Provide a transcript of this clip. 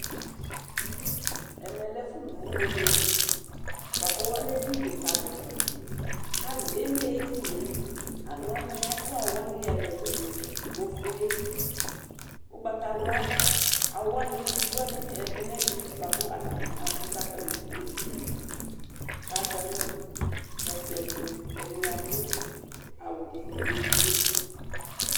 Ɛmɛlɛ ɛfʋlʋ Ʋwolowʋ, kʋakʋ ɔlɛ edini kikadi kpaa nabʋe, kʋ alʋ eme edinie kʋ alʋwani adʋ awʋwani ɛlʋ ɛlʋ ɛlʋ Ofue, ʋgbatawla, awʋwani iviwani ɛdi nʋ ɛdi bʋakʋ abʋ kʋ atani dʋ edinie, kʋ azanʋ ɛkplɔɛtʋ Ɛdini adʋ awʋ ivi edigbo